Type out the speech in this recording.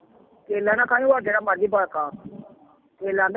ਕੇਲਾ ਨਾ ਖਾਈ ਹੋਰ ਜਿਹੜਾ ਮਰਜ਼ੀ ਫਲ ਖਾ ਕੇਲਾ